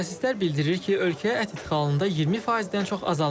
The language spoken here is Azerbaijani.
Mütəxəssislər bildirir ki, ölkəyə ət idxalında 20%-dən çox azalma var.